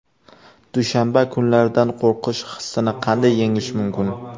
Dushanba kunlaridan qo‘rqish hissini qanday yengish mumkin?.